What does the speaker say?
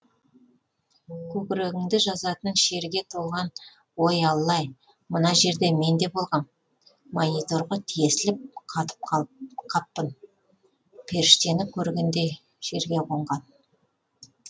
көкірегіңді жазатын шерге толған ой алла ай мына жерде мен де болғам мониторға тесіліп қатып қаппын періштені көргендей жерге қонған